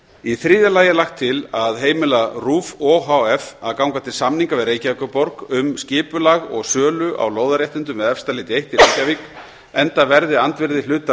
í þriðja lagi er lagt til að heimila rúv o h f að ganga til samninga við reykjavíkurborg um skipulag og sölu á lóðarréttindum við efstaleiti eitt í reykjavík enda verði andvirði hlutar